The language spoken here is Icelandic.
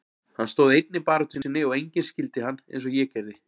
Hann stóð einn í baráttu sinni og enginn skildi hann eins og ég gerði.